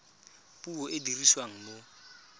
puo e e dirisiwang mo